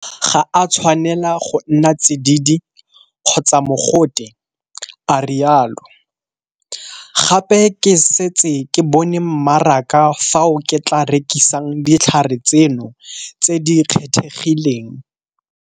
Ga a tshwanela go nna tsididi kgotsa mogote, a rialo. Gape ke setse ke bone mmaraka fao ke tla rekisang ditlhare tseno tse di kgethegileng.